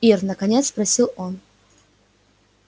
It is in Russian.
ир наконец спросил он